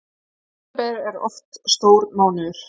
September er oft stór mánuður